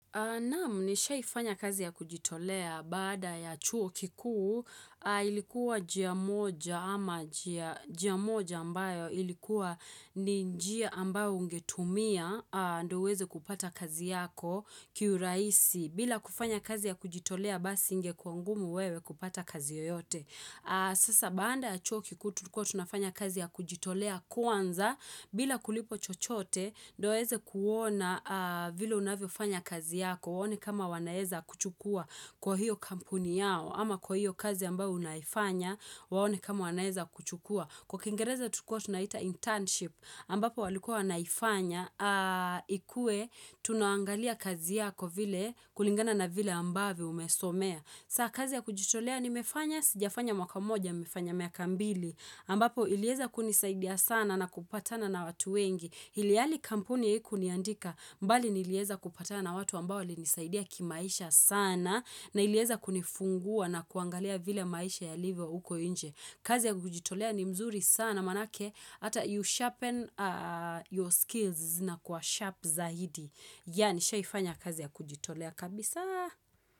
Naam, nishaifanya kazi ya kujitolea baada ya chuo kikuu, ilikuwa jia moja ama jia moja ambayo ilikuwa ni njia ambayo ungetumia aa ndo uweze kupata kazi yako kiurahisi bila kufanya kazi ya kujitolea basi ingekua ngumu wewe kupata kazi yoyote. Sasa baada ya chuo kikuu tulikua tunafanya kazi ya kujitolea kwanza bila kulipo chochote ndo ueze kuona vile unavyo fanya kazi yako Waone kama wanaeza kukuchukua kwa hiyo kampuni yao ama kwa hiyo kazi ambao unaifanya Waone kama wanaeza kukuchukua Kwa kiingereza tukua tunaita internship ambapo walikua wanaifanya ikue tunaangalia kazi yako vile kulingana na vile ambavyo umesomea saa kazi ya kujitolea nimefanya, sijafanya mwaka moja, nimefanya miaka mbili, ambapo ilieza kunisaidia sana na kupatana na watu wengi. Ilhali kampuni haikuniandika, bali nilieza kupatana na watu ambao li nisaidia kimaisha sana, na ilieza kunifungua na kuangalia vile maisha yalivyo uko nje. Kazi ya kujitolea ni mzuri sana manake, ata you sharpen your skills na kuwa sharp zaidi. Yaa nishaifanya kazi ya kujitolea kabisaa.